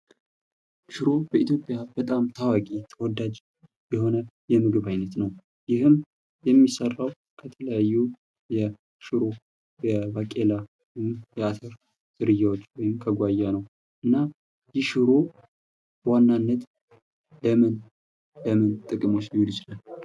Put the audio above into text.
ሽሮ በኢትዮጵያ በጣም ታዋቂ ተወዳጂ የሆነ የምግብ አይነት ነው። ይህም የሚሰራው ከተለያዩ የሽሮ፣ የባቄላ፣ የአተር ዝርያዎች እንዲሁም ከጓያ ነው። እና ይህ ሽሮ በዋናነት ለምን ለምን ጥቅሞች ይውላል።